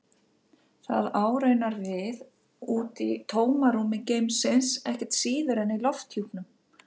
Það á raunar við úti í tómarúmi geimsins ekkert síður en í lofthjúpnum.